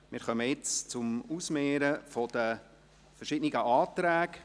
Nun kommen wir zum Ausmehren der verschiedenen Anträge.